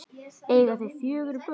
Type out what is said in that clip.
Eiga þau fjögur börn.